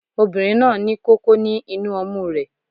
Obìnrin náà ní kókó ní inú ọmú rẹ